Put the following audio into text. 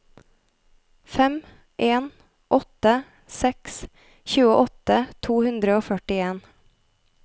fem en åtte seks tjueåtte to hundre og førtien